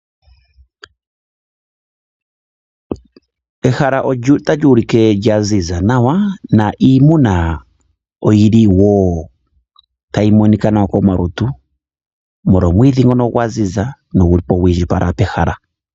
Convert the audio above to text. Ehala otali ulike lya ziza nawa na iimuna oyi li woo tayi monika nawa komalutu molwa omwiidhi ngono gwa ziza no gu li po gwi indjipala pehala.